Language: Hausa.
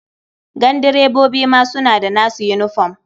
Gandirebobi ma suna da nasu yinifom.